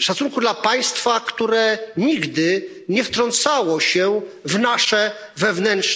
szacunku dla państwa, które nigdy nie wtrącało się w nasze wewnętrzne